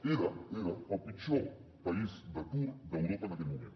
era era el pitjor país d’atur d’europa en aquell moment